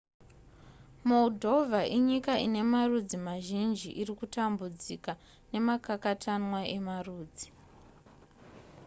moldova inyika ine marudzi mazhinji irikutambudzika nemakakatanwa emarudzi